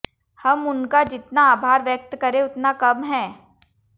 हम उनका जितना आभार व्यक्त करें उतना कम है